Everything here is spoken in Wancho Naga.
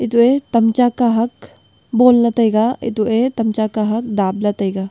eto e tam cha kahak bon ley tai ga eto e tam cha kahak dap ley tai ga.